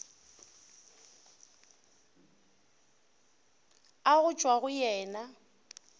a go tšwa go yena